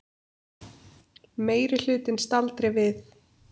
Meirihlutinn staldri við